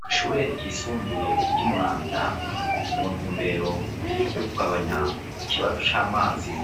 Kw'ishure ryisumbuye ry'i Muramvya, mu ntumbero y'ukugabanya ikibazo c'amazi